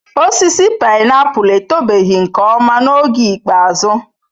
Osisi painiapulu etobeghị nke ọma n'oge ikpeazụ.